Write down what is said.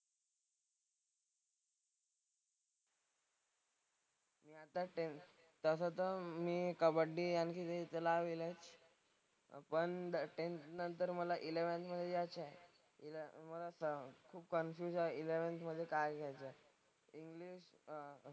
तसं तर मी कबड्डी आणि पण टेंथ नंतर मला एलेव्हन्थ मधे जायचंय. तर खूप कन्फ्युज आहे इलेव्हन्थ मधे काय घ्यायचं. इंग्लिश अह